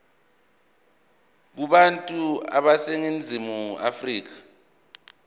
kubantu baseningizimu afrika